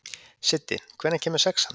Siddi, hvenær kemur sexan?